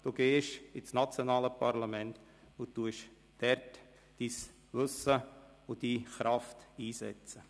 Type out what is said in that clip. Sie gehen ins nationale Parlament und werden dort Ihr Wissen und Ihre Kraft einsetzen.